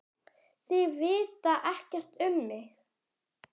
Þeir vita ekkert um mig.